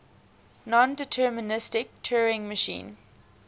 nondeterministic turing machine